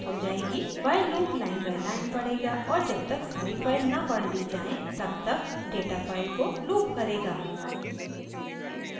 while loop line by line पढ़ेगा और और जब तक सारी फाइल न पढ़ ली जाएँ तब तक